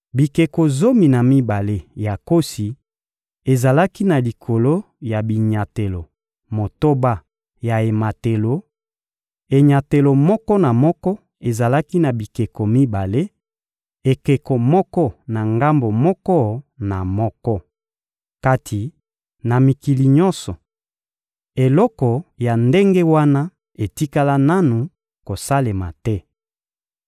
Bikeko zomi na mibale ya nkosi ezalaki na likolo ya binyatelo motoba ya ematelo: enyatelo moko na moko ezalaki na bikeko mibale, ekeko moko na ngambo moko na moko. Kati na mikili nyonso, eloko ya ndenge wana etikala nanu kosalema te.